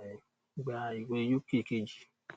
um gbà ìwé uk kejì